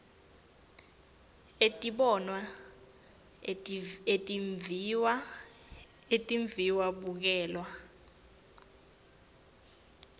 etibonwa etimviwa etimviwabukelwa